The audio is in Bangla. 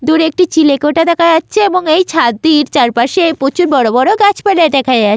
দূরে একটি চিলেকোঠা দেখা যাচ্ছে এবং এই ছাদটির চারপাশে প্রচুর বড়ো বড়ো গাছপালা দেখা যায়।